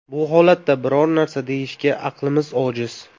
Bu holatda biror narsa deyishga aqlimiz ojiz.